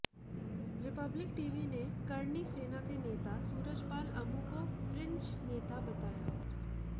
Republic TV ने करणी सेना के नेता सूरजपाल अमू को फ्रिंज नेता बताया